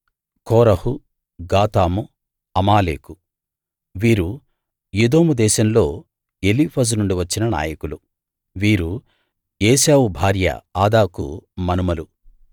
కోరహు Gatam Amalek వీరు Edom దేశంలో Eliphaz నుండి వచ్చిన నాయకులు వీరు ఏశావు భార్య ఆదాకు మనుమలు